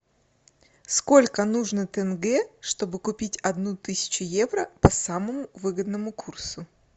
сколько нужно тенге чтобы купить одну тысячу евро по самому выгодному курсу